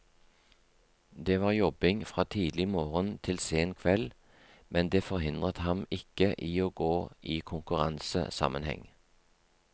Det var jobbing fra tidlig morgen til sen kveld, men det forhindret ham ikke i å gå i konkurransesammenheng.